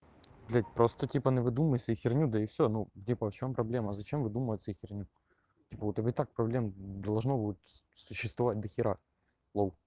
блядь просто типа навыдумывай себе херню да и всё ну типа в чём проблема зачем выдумывать себе херню вот типа и так проблем должно будет существовать дохера лол